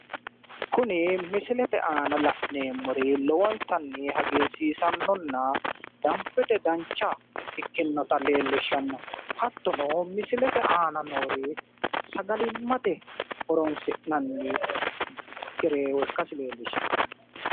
Kuni misilete aana la'neemmori lowontanni hagiirsiisannonna danbete dancha ikkinota leellishshano hattono misilete aana noori sagalimmate horonsi'nanni gereewo ikkasi leellishshawo